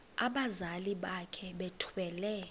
abazali bakhe bethwele